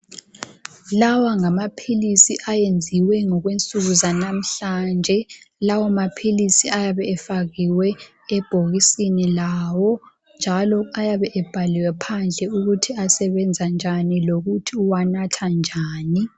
Lawa ngamaphilisis ayenziwe ngokwensuku zanamhlanje . Lawo maphilisi ayabe efakiwe ebhokisini lawo njalo ayabe ebhaliwe phandle ukuthi asebenza njani lokuthi uwanatha njani.